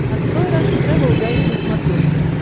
открой рашн тревел гайд на смотрешке